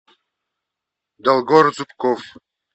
долгор зубков